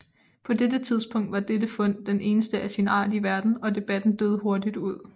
På dette tidspunkt var dette fund det eneste af sin art i verden og debatten døde hurtigt ud